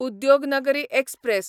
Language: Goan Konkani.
उद्योगनगरी एक्सप्रॅस